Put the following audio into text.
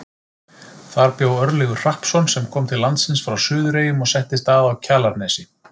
Þar bjó Örlygur Hrappsson sem kom til landsins frá Suðureyjum og settist að á Kjalarnesi.